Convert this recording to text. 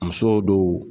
Musow do